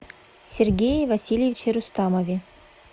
сергее васильевиче рустамове